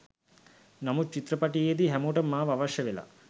නමුත් චිත්‍රපටයේදී හැමෝටම මාව අවශ්‍යවෙලා.